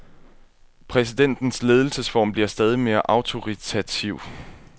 Præsidentens ledelsesform bliver stadig mere autoritativ.